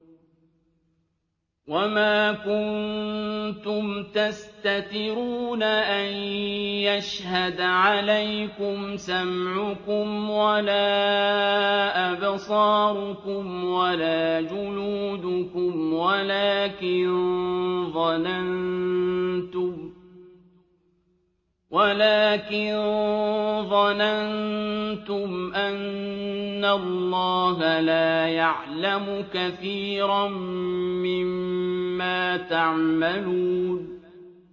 وَمَا كُنتُمْ تَسْتَتِرُونَ أَن يَشْهَدَ عَلَيْكُمْ سَمْعُكُمْ وَلَا أَبْصَارُكُمْ وَلَا جُلُودُكُمْ وَلَٰكِن ظَنَنتُمْ أَنَّ اللَّهَ لَا يَعْلَمُ كَثِيرًا مِّمَّا تَعْمَلُونَ